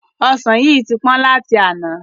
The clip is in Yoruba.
Ọsan yìí tí pọ́n láti àná.